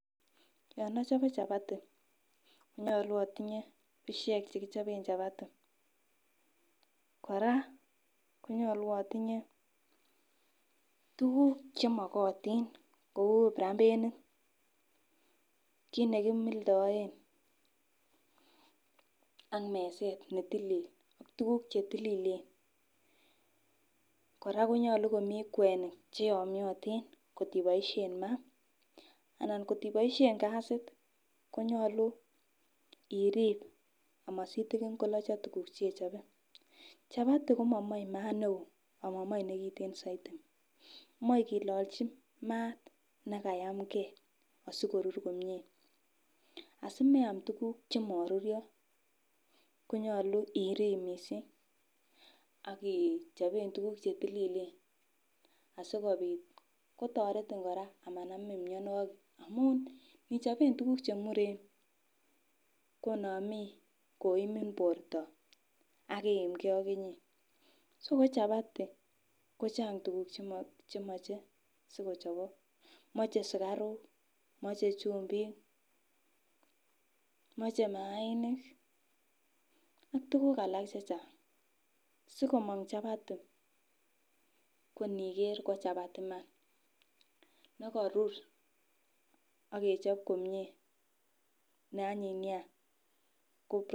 Yon ochobe chapati nyolu otinye bushek chekichoben chapati. Koraa konyoluu otinye tukul chemokotin kou prambenit, kit nekimildoen ak meset netilil ak tukuk chetililen. Koraa konyolu komii kwenik cheyomotin kokiboishen maa ana kokiboishen kasit konyolu irib amasitin kolocho tukuk chechobe. Chapati komo moi mat neo amomoi nekiten soiti moi kililolji maat nekayamgee asikoru komie asimeam tukuk chemororyo konyolu ichoben tukuk chetililen asikopit kotoretin kokanamin mionwokik amun nichoben tukuk chemuren konamii koimin borto ak iimgee AK inyee. So ko chapati ko Chang tukuk chemoche siikochobok, moche sukaruk moche chumbik, moche mainik ak tukuk alak chechang. Sikomong chapati ko niker ko chapati Iman nekorur ak kechob komie ne anyiny nia ko.